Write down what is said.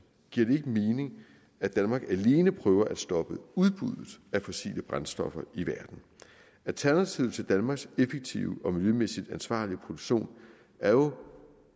giver det ikke mening at danmark alene prøver at stoppe udbuddet af fossile brændstoffer i verden alternativet til danmarks effektive og miljømæssigt ansvarlige produktion er jo